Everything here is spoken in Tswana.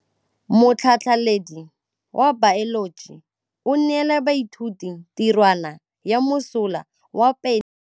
Motlhatlhaledi wa baeloji o neela baithuti tirwana ya mosola wa peniselene.